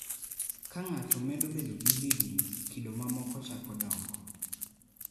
Ka ng�ato medo bedo gi higni, kido mamoko chako dongo.